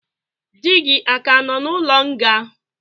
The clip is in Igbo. Di gi aka nọ n'ụlo nga?